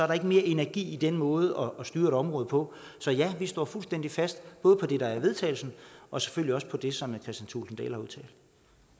der ikke mere energi i den måde at styre et område på så ja vi står fuldstændig fast både på det der i vedtagelse og selvfølgelig også på det som